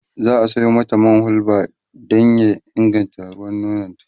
za'a Sayo mata man hulba ta Sha Dan ya inganta ruwan nono